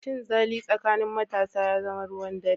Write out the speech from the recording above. Cinzali tsakanin matasa ya zama ruwan dare.